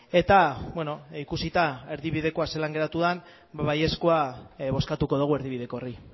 eta ikusita erdibidekoa zelan geratu den ba baiezkoa bozkatuko dugu erdibideko honi